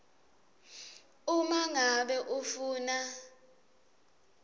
uma ngabe ufuna